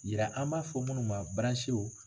yira an b'a fɔ munnu ma